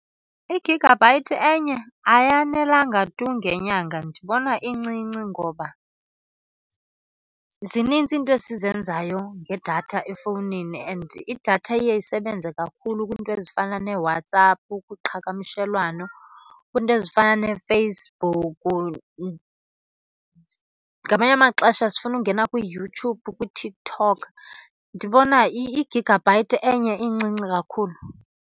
I-gigabyte enye ayanelanga tu ngenyanga. Ndibona incinci ngoba zinintsi izinto esizenzayo ngedatha efowunini. And idatha iye isebenze kakhulu kwizinto ezifana neeWhatsApp kuqhagamshelwano, kwiinto ezifana neeFacebook, ngamanye amaxesha sifuna ungena kwiYouTube, kwiTikTok. Ndibona igigabyte enye incinci kakhulu.